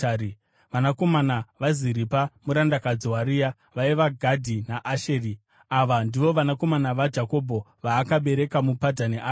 Vanakomana vaZiripa murandakadzi waRea vaiva: Gadhi naAsheri. Ava ndivo vanakomana vaJakobho, vaakabereka muPadhani Aramu.